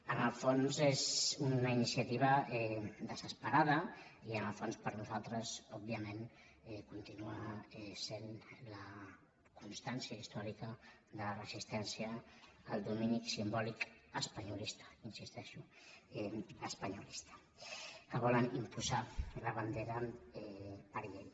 en el fons és una iniciativa desesperada i en el fons per nosaltres òbviament continua sent la constància històrica de la resistència al domini simbòlic espanyolista hi insisteixo espanyolista que volen imposar la bandera per llei